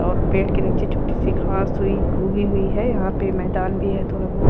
और पेड़ के नीचे छोटी सी घास हुई ऊगी हुई है यहां पे मैदान भी है थोड़ा बहुत।